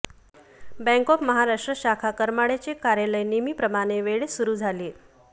bank of Maharashtra शाखा करमाळाचे कार्यालय नेहमीप्रमाणे वेळेत सुरु झाले